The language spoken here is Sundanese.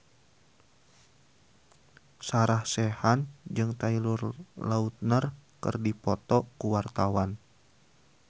Sarah Sechan jeung Taylor Lautner keur dipoto ku wartawan